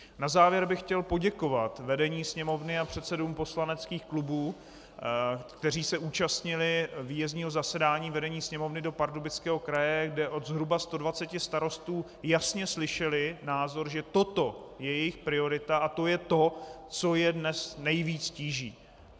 Na závěr bych chtěl poděkovat vedení Sněmovny a předsedům poslaneckých klubů, kteří se účastnili výjezdního zasedání vedení Sněmovny do Pardubického kraje, kde od zhruba 120 starostů jasně slyšeli názor, že toto je jejich priorita a je to to, co je dnes nejvíc tíží.